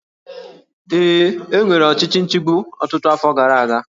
Ee, e nwere ọchịchị nchigbu ọtụtụ afọ gara aga